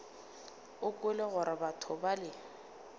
o kwele gore batho bale